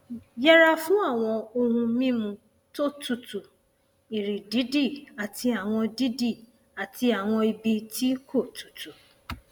daba awọn itọju fun yiyipada inu ati irora ni apakan oke egungun iha ẹhin